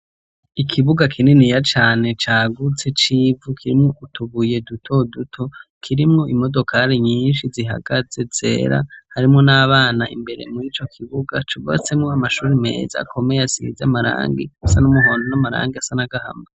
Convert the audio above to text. Ikibuga kininiya cane cagutse c'ivu kirimwo utubuye duto duto. Kirimwo imodokari nyinshi zihagaze zera. Harimwo n'abana imbere mur'ico kibuga cubatsemwo amashuri meza akomeye asize amarangi asa n'umuhondo n'amarangi asa n'agahama.